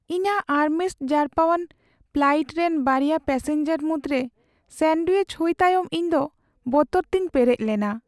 ᱤᱧᱟᱹᱜ ᱟᱨᱢᱨᱮᱥᱴ ᱡᱟᱨᱯᱟᱣᱟᱱ ᱯᱷᱞᱟᱭᱤᱴ ᱨᱮᱱ ᱵᱟᱨᱭᱟ ᱯᱮᱹᱥᱮᱧᱡᱟᱨ ᱢᱩᱫᱽᱨᱮ ᱥᱭᱟᱱᱰᱣᱭᱤᱪ ᱦᱩᱭ ᱛᱟᱭᱚᱢ ᱤᱧᱫᱚ ᱵᱚᱛᱚᱨᱛᱤᱧ ᱯᱮᱨᱮᱡ ᱞᱮᱱᱟ ᱾